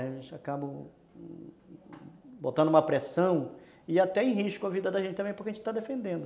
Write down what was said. A gente acaba botando uma pressão e até em risco a vida da gente também, porque a gente está defendendo.